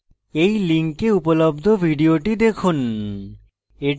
এই link উপলব্ধ video দেখুন